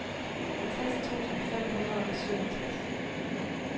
halvtreds tusind fem hundrede og syvogtres